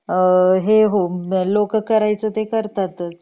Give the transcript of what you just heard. हे हो लोक काय करायच ते करतातच